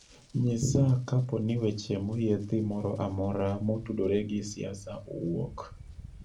Nyisa kapo ni weche moyiedhi moro amoro motudore gi siasa owuok